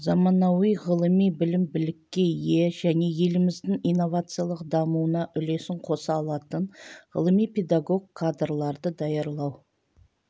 заманауи ғылыми білім-білікке ие және еліміздің инновациялық дамуына үлесін қоса алатын ғылыми-педагог кадрларды даярлау